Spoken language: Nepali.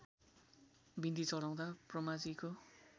बिन्ती चढाउँदा ब्रह्माजीको